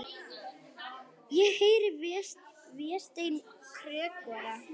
Ég heyri Véstein kjökra.